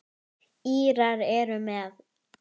Tríó Árna Ísleifs leikur undir.